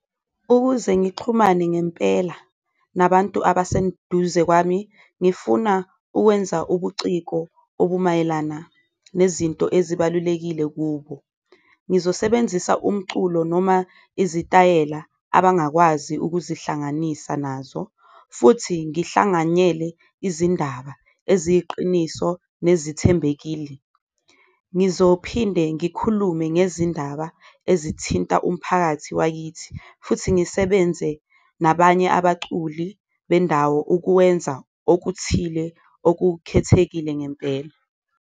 Ukuze ngixhumane ngempela nabantu abasenduze kwami ngifuna ukwenza ubuciko okumayelana nezinto ezibalulekile kubo, ngizosebenzisa umculo noma izitayela abangakwazi ukuzihlanganisa nazo futhi ngihlanganyele izindaba eziyiqiniso nezithembekile. Ngizophinde ngikhulume ngezindaba ezithinta umphakathi wakithi futhi ngisebenze nabanye abaculi bendawo ukuwenza okuthile okukhethekile ngempela.